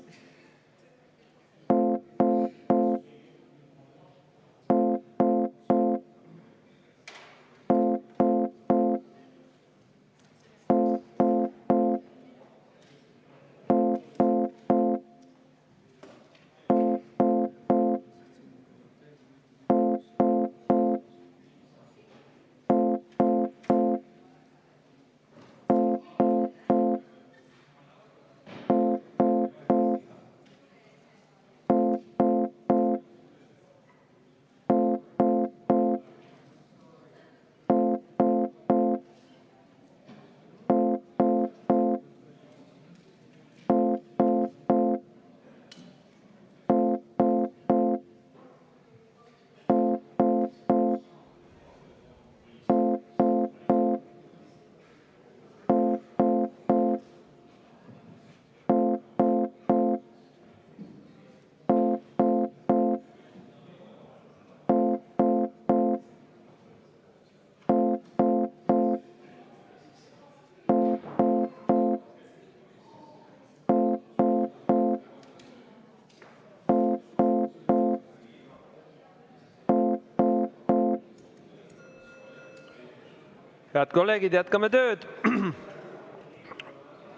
Head kolleegid, jätkame tööd.